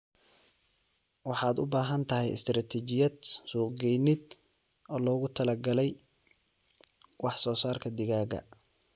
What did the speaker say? Waxaad u baahan tahay istaraatiijiyad suuqgeyneed oo loogu talagalay wax soo saarka digaaga.